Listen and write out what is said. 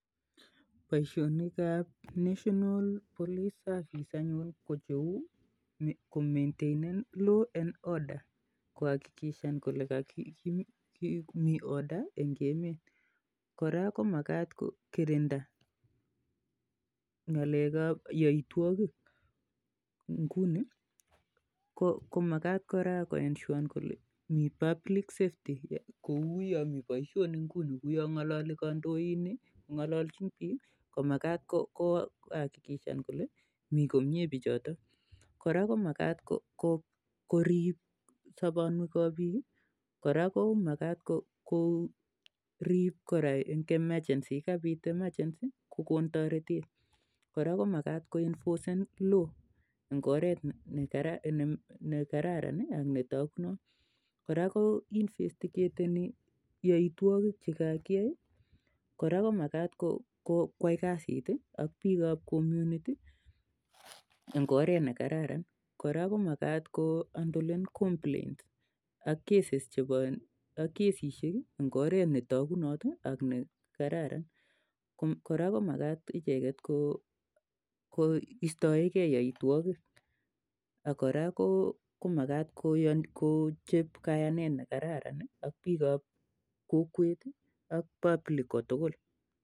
Boisionikap 'national police service' anyun ko cheuu kohakikishan kolee mii 'order' eng emet kora komakat kokirinda yaitwakik eng emet koraa komakat koroo kolee mii komyee biik kouu ya mii kandoindet kongalalchin biik koraa komakat kokon toretet yekapiit nyasuut ak koenfrcen law eng oret ne ititayat